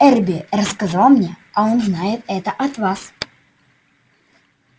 эрби рассказал мне а он знает это от вас